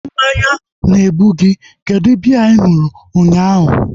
Mmanya na-egbu gị. Kedụ biya ị ṅụrụ unyaahu?